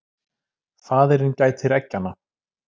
Faðirinn gætir eggjanna.